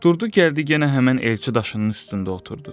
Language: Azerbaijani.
Durdu gəldi yenə həmin elçi daşının üstündə oturdu.